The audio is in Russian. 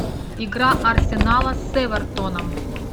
игра арсенала с эвертоном